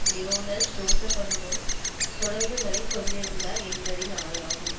Lionel ஜோஸ்பனுடனும் தொடர்புகளை கொண்டிருந்தார் என்பதினாலாகும்